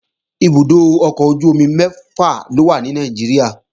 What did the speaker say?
Ibùdó ọkọ̀ ojú-omi mẹ́fà ló wà ní Nàìjíríà